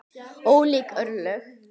Ólík örlög.